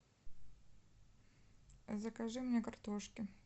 закажи мне картошки